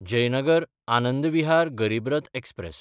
जयनगर–आनंद विहार गरीब रथ एक्सप्रॅस